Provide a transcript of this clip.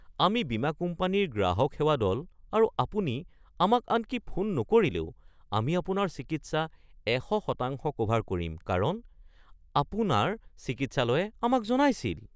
আমি বীমা কোম্পানীৰ গ্ৰাহক সেৱা দল আৰু আপুনি আমাক আনকি ফোন নকৰিলেও, আমি আপোনাৰ চিকিৎসা ১০০% ক'ভাৰ কৰিম কাৰণ আপোনাৰ চিকিৎসালয়ে আমাক জনাইছিল